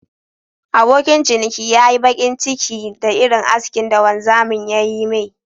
Abokin ciniki ya nmyi bakin ciki da Irin askin da wanzamin ya Yi me..